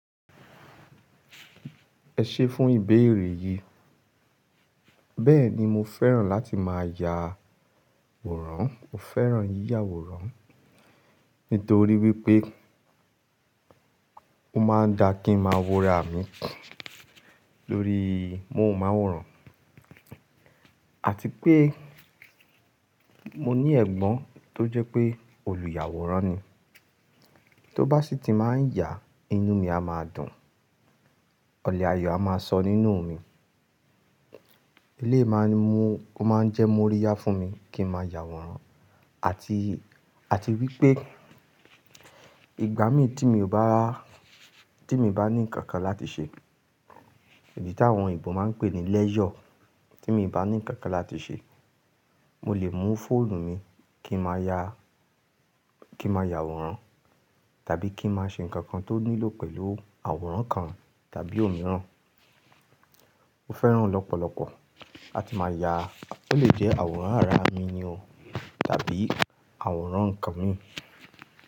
Ẹ ṣé fún ìbéèrè yìí. Bẹ́ẹ̀ni mo fẹ́ràn láti máa ya àwòrán. Mo fẹ́ràn yíyà àwòrán nítorí wípé ó máa ń da kí n máa wúra mi lórí mowu ma àwòrán. Àti pé mo ní ẹ̀gbọ́n tó jẹ́ pé olùyàwòrán ni. Tó bá sì tí máa ń yà, inú mi a máa dùn. Ọ̀lẹ́ ayọ̀ a máa sọ nínú mi. Èléyìí máa ń mu, ó máa ń jẹ́ múríyá fún mi kí n máa yà àwòrán. Àti, àti wípé ìgbà mi tí mi ò bá, tí mi bá ní ǹkan kan láti ṣe, èyí tí àwọn òyìnbó máa ń pè ní lẹ́isure Tí mi bá ní ǹkan kan láti ṣe, mo lè mú fóònù mi kí n máa ya, kí n máa yà àwòrán, tàbí kí n máa ṣe ǹkan kan tó nílò pẹ̀lú àwòrán kan tàbí òmíràn. Mo fẹ́ràn ọ̀pọ̀lọpọ̀. A ti máa ya, ó lè jẹ́ àwòrán ara mi ni o tàbí àwòrán ǹkan mi.